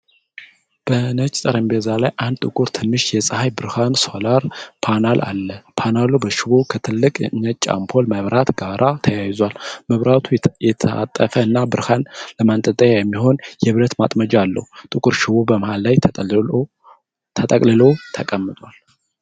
በነጭ ጠረጴዛ ላይ አንድ ጥቁር ትንሽ የፀሐይ ብርሃን (ሶላር) ፓናል አለ። ፓናሉ በሽቦ ከትልቅ ነጭ አምፖል መብራት ጋር ተያይዟል። መብራቱ የታጠፈ እና ብርሃን ለማንጠልጠያ የሚሆን የብረት ማጥመጃ አለው። ጥቁሩ ሽቦ በመሃል ላይ ተጠቅልሎ ተቀምጧል።